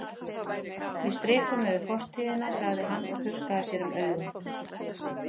Við strikum yfir fortíðina, sagði hann og þurrkaði sér um augun.